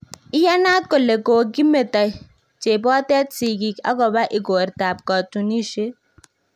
Iyanaat kole kokimeto chepotet sikgik agoba igortab katunisiet